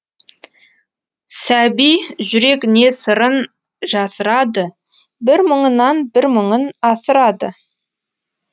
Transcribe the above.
сәби жүрек не сырын жасырады бір мұңынан бір мұңын асырады